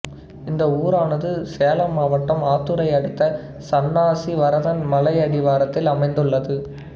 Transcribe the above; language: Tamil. இந்த ஊரானது சேலம் மாவட்டம் ஆத்தூரை அடுத்த சன்னாசி வரதன் மலையடிவாரத்தில் அமைந்துள்ளது